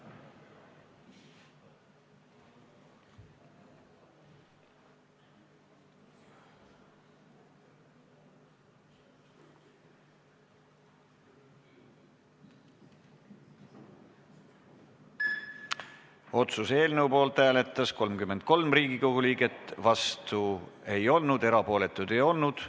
Hääletustulemused Otsuse eelnõu poolt hääletas 33 Riigikogu liiget, vastu ei olnud keegi, erapooletuid ei olnud.